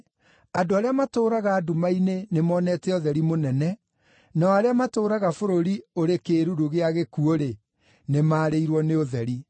andũ arĩa matũũraga nduma-inĩ nĩmonete ũtheri mũnene; nao arĩa matũũraga bũrũri ũrĩ kĩĩruru gĩa gĩkuũ-rĩ, nĩmarĩirwo nĩ ũtheri.”